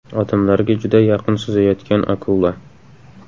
Odamlarga juda yaqin suzayotgan akula.